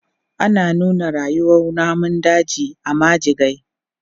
Ana nuna rayuwan namun daji a majigai.